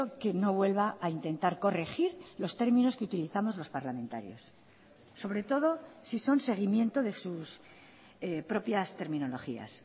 que no vuelva a intentar corregir los términos que utilizamos los parlamentarios sobre todo si son seguimiento de sus propias terminologías